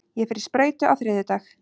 Ég fer í sprautu á þriðjudag.